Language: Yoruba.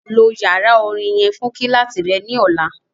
Lo yara orin yẹn fun kíláàsì rẹ ni ọla!